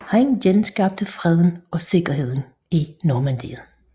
Han genskabte freden og sikkerheden i Normandiet